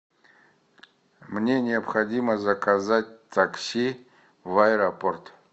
мне необходимо заказать такси в аэропорт